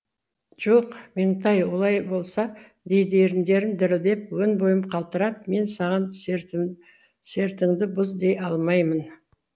жоқ меңтай олай болса дейді еріндерім дірілдеп өн бойым қалтырап мен саған сертіңді бұз дей алмаймын